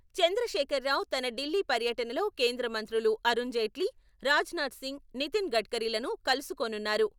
చంద్రశేఖర్ రావు తన ఢిల్లీ పర్యటనలో కేంద్రమంత్రులు అరుణ్ జైట్లీ, రాజ్ నాథ్ సింగ్, నితిన్ గడ్కరీలను కలుసుకోనున్నారు.